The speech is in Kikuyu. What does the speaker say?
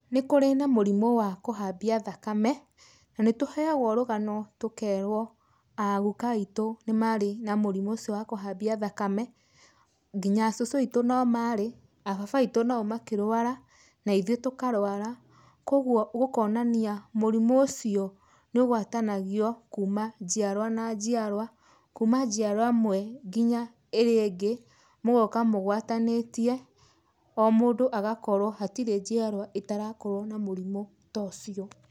Nĩkũrĩ na mũrimũ wa kũhambia thakame na nĩtũheagwo rũgano tũkerwo a guka witũ nĩ marĩ na mũrimũ ũcio wa kũhambia thakame, nginya a cũcũ witũ no maarĩ, a baba witũ nao makĩrũara na ithuĩ tũkarwara, koguo gũkonania mũrimũ ũcio nĩ ũgwatanagio kuma njiarwa na njiarwa, kuma njiarwa ĩmwe nginya ĩrĩa ĩngĩ, mũgoka mũgwatanĩtie, o mũndũ agakorwo hatirĩ njiarwa ĩtarakorwo na mũrimũ ta ũcio.